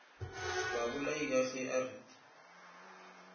babolai ka ge a re